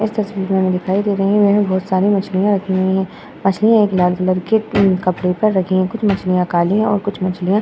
इस तस्वीर में दिखाई दे रही हैं। यह बहोत सारी मछलिया रखी हुई दिखाई दे रही हैं। मछलियाँ लाल कलर के कुछ मछलियाँ काली और कुछ मछलीया --